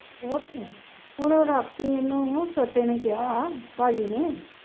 ਇਹ ਤੇ ਹੈ ਹੁਣ ਰਾਤੀ ਇਹਨੂੰ ਛੋਟੇ ਨੇ ਕਿਹਾ ਭਾਜੀ ਨੇ